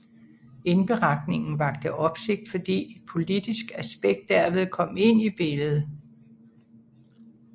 Indberetningen vakte opsigt fordi et politisk aspekt derved kom ind i billedet